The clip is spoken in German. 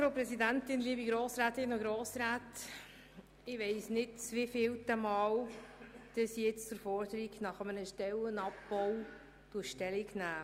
Ich weiss nicht, zum wievielten Mal ich zur Forderung nach einem Stellenabbau Stellung nehmen muss.